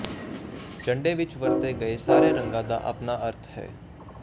ਝੰਡੇ ਵਿੱਚ ਵਰਤੇ ਗਏ ਸਾਰੇ ਰੰਗਾਂ ਦਾ ਆਪਣਾ ਅਰਥ ਹੈ